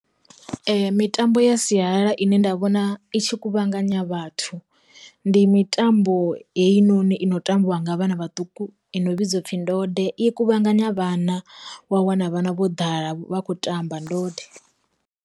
Mitambo ya sialala ine nda vhona itshi kuvhanganya vhathu, ndi mitambo heinoni i no tambiwa ngavha na vhaṱuku i no vhidzwa upfhi ndode i kuvhanganya vhana wa wana vhana vho ḓala vha kho tamba ndode.